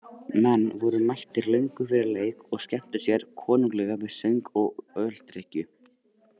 Menn voru mættir löngu fyrir leik og skemmtu sér konunglega við söng og öldrykkju.